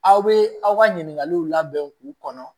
Aw bɛ aw ka ɲininkaliw labɛn k'u kɔnɔ